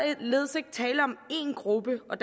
er således ikke tale om én gruppe og